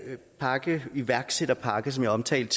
iværksætterpakke som jeg omtalte